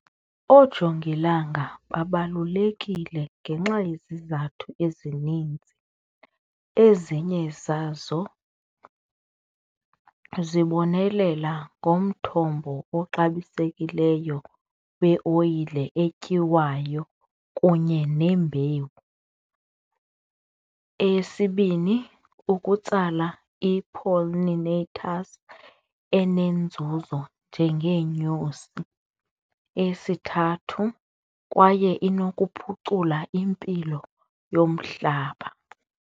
Oojongilanga babalulekile ngenxa yezizathu ezininzi ezinye zazo zibonelela ngomthombo oluxabisekileyo kweoyile thina etyiwayo kunye nembewu. Eyesibini, ukutsala i-pollinaters enenzuzo njengeenyosi. Eyesithathu, kwaye inokuphucula impilo yomhlaba.